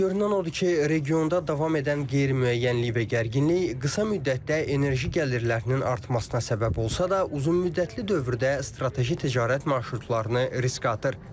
Görünən odur ki, regionda davam edən qeyri-müəyyənlik və gərginlik qısa müddətdə enerji gəlirlərinin artmasına səbəb olsa da, uzunmüddətli dövrdə strateji ticarət marşrutlarını riskə atır.